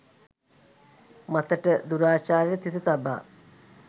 මතට දුරාචාරයට තිත තබා